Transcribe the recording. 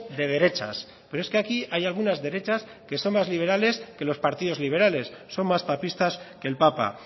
de derechas pero es que aquí hay algunas derechas que son más liberales que los partidos liberales son más papistas que el papa